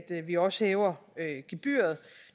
vi også hæver gebyret